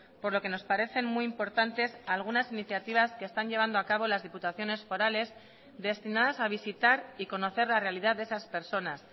por lo que nos parecen muy importantes algunas iniciativas que están llevando a cabo las diputaciones forales destinadas a visitar y conocer la realidad de esas personas